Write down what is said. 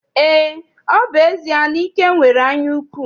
Eé, ọ bụ ezie na Ike nwere anyaukwu.